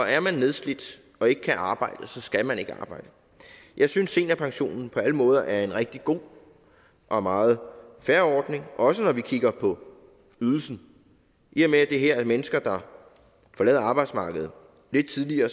er man nedslidt og ikke kan arbejde skal man ikke arbejde jeg synes seniorpensionen på alle måder er en rigtig god og meget fair ordning også når vi kigger på ydelsen i og med at det her er mennesker der forlader arbejdsmarkedet lidt tidligere